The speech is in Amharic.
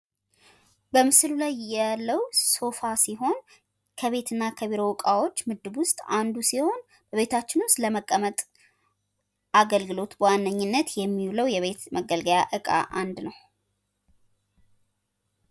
በምስሉ ላይ ያለው ሶፋ ሲሆን፤ ከቤት እና ከቢሮ እቃወች ምድብ ውስጥ አንዱ ሲሆን፤ ቤታችን ዉስጥ ለመቀመጥ አገልግሎት በዋነኝነት የሚውለው የቤት መገልገያ እቃ አንድ ነው።